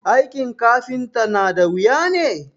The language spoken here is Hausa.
aikin kafinta nada wuya ne?